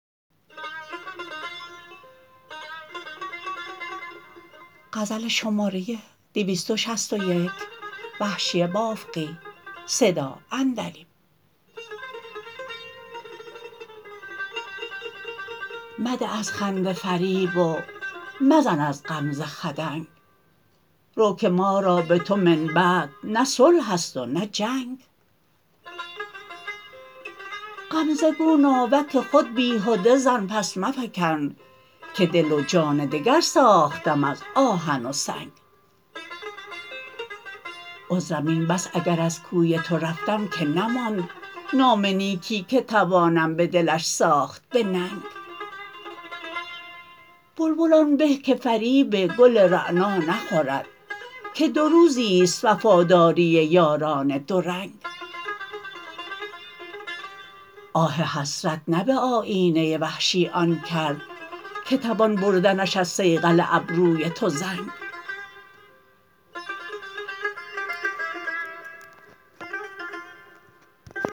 مده از خنده فریب و مزن از غمزه خدنگ رو که ما را به تو من بعد نه صلح است و نه جنگ غمزه گو ناوک خود بیهده زن پس مفکن که دل و جان دگر ساختم از آهن و سنگ عذرم این بس اگر از کوی تو رفتم که نماند نام نیکی که توانم بدلش ساخت به ننگ بلبل آن به که فریب گل رعنا نخورد که دو روزیست وفاداری یاران دو رنگ آه حسرت نه به آیینه وحشی آن کرد که توان بردنش از صیقل ابروی تو زنگ